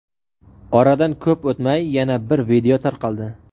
Oradan ko‘p o‘tmay, yana bir video tarqaldi.